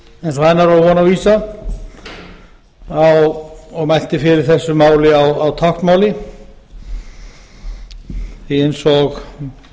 var von og vísa og mælti fyrir þessu máli á táknmáli því að eins og